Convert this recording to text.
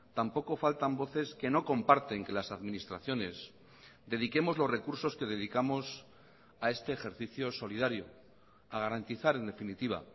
tampoco faltan voces que no comparten que las administraciones dediquemos los recursos que dedicamos a este ejercicio solidario a garantizar en definitiva